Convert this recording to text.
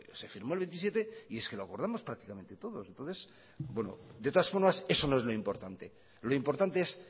se firmó el veintisiete y es que lo acordamos prácticamente todos de todas formas eso no es lo importante lo importante es